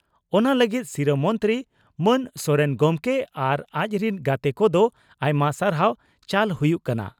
ᱚᱱᱟ ᱞᱟᱹᱜᱤᱫ ᱥᱤᱨᱟᱹ ᱢᱚᱱᱛᱨᱤ ᱢᱟᱱ ᱥᱚᱨᱮᱱ ᱜᱚᱢᱠᱮ ᱟᱨ ᱟᱡ ᱨᱤᱱ ᱜᱟᱛᱮ ᱠᱚᱫᱚ ᱟᱭᱢᱟ ᱥᱟᱨᱦᱟᱣ ᱪᱟᱞ ᱦᱩᱭᱩᱜ ᱠᱟᱱᱟ ᱾